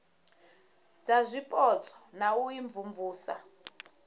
dza zwipotso na u imvumvusa